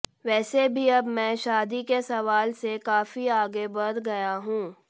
वैसे भी अब मैं शादी के सवाल से काफी आगे बढ़ गया हूं